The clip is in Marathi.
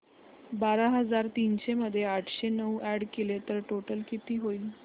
बारा हजार तीनशे मध्ये आठशे नऊ अॅड केले तर टोटल किती होईल